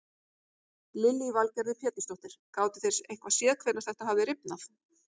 Lillý Valgerður Pétursdóttir: Gátu þeir eitthvað séð hvenær þetta hafði rifnað?